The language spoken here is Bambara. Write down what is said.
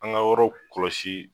An ka yɔrɔ kɔlɔsi